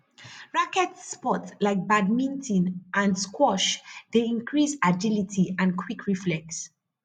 racquet sports like badminton and squash dey increase agility and quick reflex